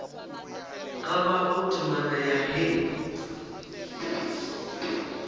ka bago temana ya hei